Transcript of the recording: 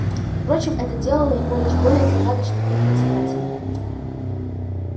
впрочем это делало его лишь более загадочным и притягательным